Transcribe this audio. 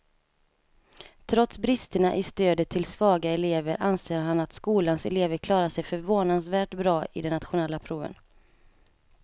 Trots bristerna i stödet till svaga elever anser han att skolans elever klarar sig förvånansvärt bra i de nationella proven.